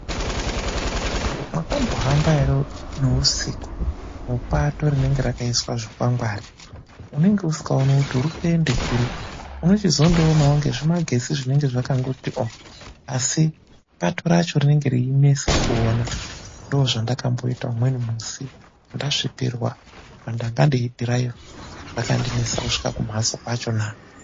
Mwakambohamba ere neusiku mupato rinenge rakaiswa zvikwangwari. Unenge usingaoni kuti uri kuenda kuri uno. chizondoonawo ngezvimagetsi zvinenge zvakangoti ooh, asi pato racho rinenge reinesa kuona. Ndoo zvandakamboita umweni musi ndasvipirwa ndanga ndeidhiraivha rakandinesa kusvika kumhatso kwachona.